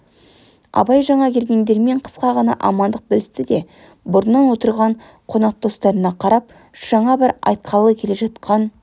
абай жаңа келгендермен қысқа ғана амандық білісті де бұрыннан отырған қонақ достарына қарап жаңа бір айтқалы келе жатқан